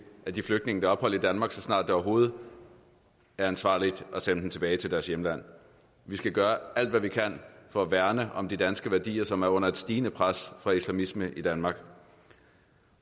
af de flygtninge der har ophold i danmark så snart det overhovedet er ansvarligt at sende dem tilbage til deres hjemland vi skal gøre alt hvad vi kan for at værne om de danske værdier som er under et stigende pres fra islamisme i danmark